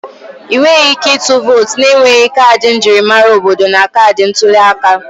Ị nweghị ike ịtụ vootu na-enweghị kaadị njirimara obodo na kaadị ntuli aka